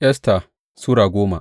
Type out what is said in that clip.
Esta Sura goma